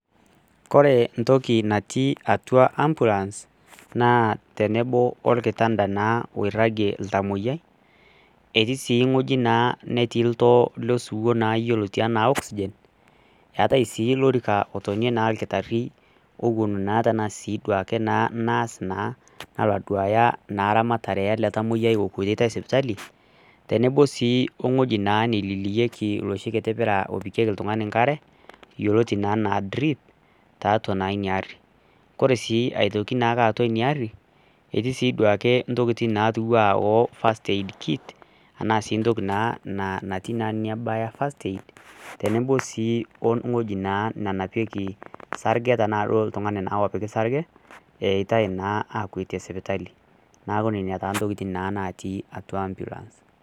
Ore entoki natii atua ambulance teneboo naa orkitanta oragie oltamoyiai etii sii wueji netii oltoo losiwuo yioloti enaa oxygen eetai sii lorika otonie sii orkitari owuon naa tenasiai duake naa naas naa nalo aduaya naa ramatare ele tamoyiai okuetitai sipitali tenebo sii ong'ueji naa nemilieki loshi pira opikieki oltung'ani enkare yioloti naa enaa drip tiatua naa ina ari kore sii aitoki naa tiatu ina aari etii sii duake intokitin natia ena fast aid kid ashua entoki naatii nebaya tenebo sii wewueji nenapieki isargeta loltung'ani naa opiki sarge eetai naa aakwetie sipitali naaku nenaa intokitin naatii ambulance